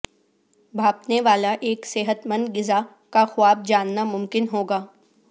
بھاپنے والا ایک صحت مند غذا کا خواب جاننا ممکن ہو گا